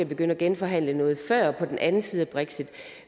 begynde at genforhandle noget før vi den anden side af brexit